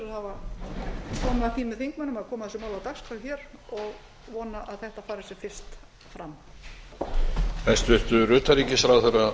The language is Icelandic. því með þingmönnum að koma þessu máli á dagskrá hér og vona að þetta fari sem fyrst fram